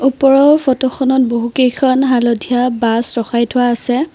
ওপৰৰ ফটোখনত বহু কেইখন হালধীয়া বাছ ৰখাই থোৱা আছে।